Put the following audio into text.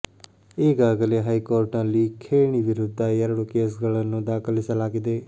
ಈಗಾಗಲೇ ಹೈಕೋರ್ಟ್ ನಲ್ಲಿ ಖೇಣಿ ವಿರುದ್ಧ ಎರಡು ಕೇಸ್ ಗಳನ್ನು ದಾಖಲಿಸಲಾಗಿದೆ